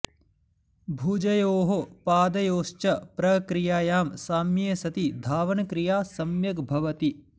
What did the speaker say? भुजयोः पदयोश्च प्रक्रियायां साम्ये सति धावनक्रिया सम्यग् भवति